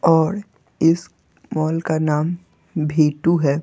और इस मॉल का नाम भीटु है।